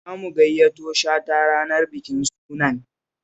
Za mu gayyato Shata ranar bikin sunan